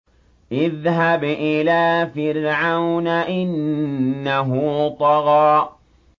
اذْهَبْ إِلَىٰ فِرْعَوْنَ إِنَّهُ طَغَىٰ